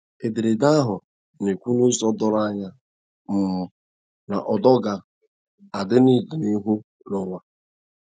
Ederede ahụ na - ekwu n’ụzọ doro anya um na ụdọ ga -adi n’ọdịnihu n'uwa